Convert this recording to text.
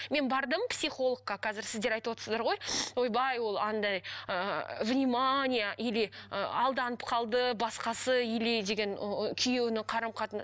мен бардым психологқа қазір сіздер айтып отырсыздар ғой ойбай ол андай ыыы внимание или ы алданып қалды басқасы или деген күйеуінің